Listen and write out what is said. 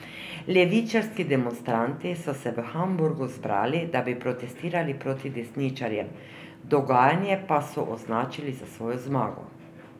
Levičarski demonstranti so se v Hamburgu zbrali, da bi protestirali proti desničarjem, dogajanje pa so označili za svojo zmago.